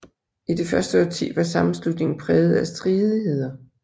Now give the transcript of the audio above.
I det første årti var sammenslutningen præget af stridigheder